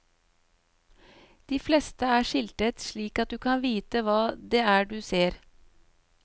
De fleste er skiltet, slik at du kan vite hva det er du ser.